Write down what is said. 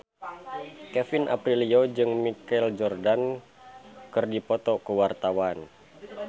Kevin Aprilio jeung Michael Jordan keur dipoto ku wartawan